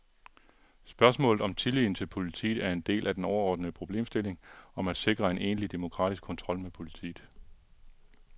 Spørgsmålet om tilliden til politiet er en del af den overordnede problemstilling om at sikre en egentlig demokratisk kontrol med politiet.